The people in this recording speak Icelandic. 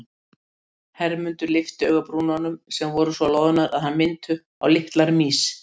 Hermundur lyfti augabrúnunum sem voru svo loðnar að þær minntu á litlar mýs.